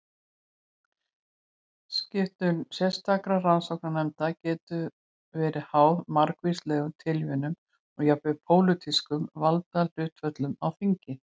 Skipun sérstakra rannsóknarnefnda getur verið háð margvíslegum tilviljunum og jafnvel pólitískum valdahlutföllum á þingi.